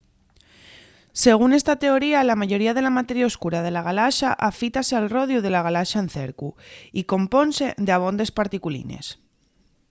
según esta teoría la mayoría de la materia oscura de la galaxa afítase al rodiu la galaxa en cercu y compónse d'abondes particulines